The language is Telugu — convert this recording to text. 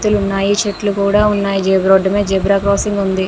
భవంతులు ఉన్నాయ్ చెట్లు కూడా ఉన్నాయ్ రోడ్డు మీద జీబ్రా క్రోస్సింగ్ ఉంది.